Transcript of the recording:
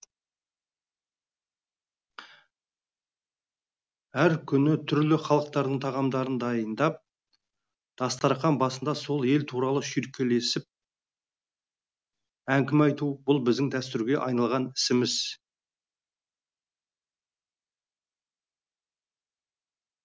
әр күні түрлі халықтардың тағамдарын дайындап дастархан басында сол ел туралы шүйіркелесіп әңгіме айту бұл біздің дәстүрге айналған ісіміз